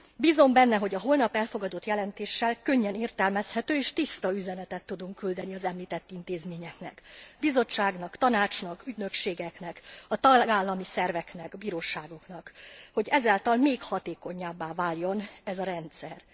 Bízom benne, hogy a holnap elfogadott jelentéssel könnyen értelmezhető és tiszta üzenetet tudunk küldeni az említett intézményeknek Bizottságnak, Tanácsnak, ügynökségeknek, a tagállami szerveknek, bíróságoknak, hogy ezáltal még hatékonyabbá váljon ez a rendszer.